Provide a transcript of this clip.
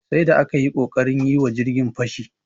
Sai da aka yi ƙoƙarin yi wa jirgin fashi.